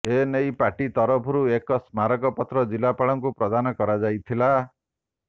ଏ ନେଇ ପାର୍ଟି ପକ୍ଷରୁ ଏକ ସ୍ମାରକପତ୍ର ଜିଲ୍ଲାପାଳଙ୍କୁ ପ୍ରଦାନ କରାଯାଇଥିଲା